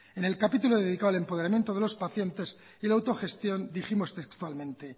en el capítulo dedicado al empoderamiento de los pacientes y la autogestión dijimos textualmente